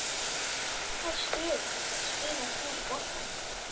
Hvaða stöðu spilaðir þú í boltanum?